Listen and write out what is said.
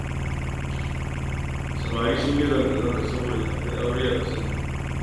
Samari sun yi zanga-zanga saboda tsadar aure a ƙasar nan